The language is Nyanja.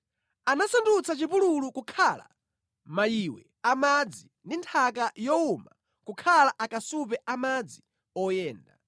Anasandutsa chipululu kukhala mayiwe a madzi ndi nthaka yowuma kukhala akasupe a madzi oyenda;